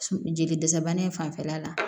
Jeli dɛsɛ bana in fanfɛla la